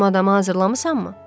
Dediyim adamı hazırlamısanmı?